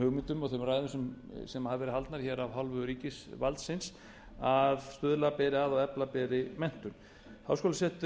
hugmyndum og þeim ræðum sem hafa verið haldnar af hálfu ríkisvaldsins að stuðla beri að og efla beri menntun háskólasetur